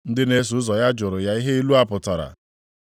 Ndị na-eso ụzọ ya jụrụ ya ihe ilu a pụtara.